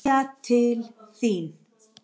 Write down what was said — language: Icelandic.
Kveðja til þín.